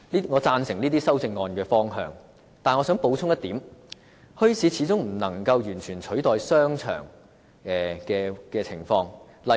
我贊成這些修正案的方向，但我想補充一點，墟市始終無法完全取代商場。